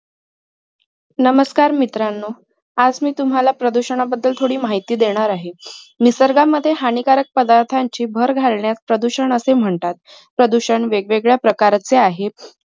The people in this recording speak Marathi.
नमस्कार मित्रांनो आज मी तुम्हाला प्रदूषणाबद्दल थोडी माहिती देणार आहे. निसर्गामध्ये हानिकारक पदार्थांची भर घालण्यास प्रदूषण असे म्हणतात. प्रदूषण वेगवेगळ्या प्रकारचे आहेत.